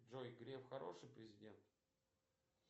джой греф хороший президент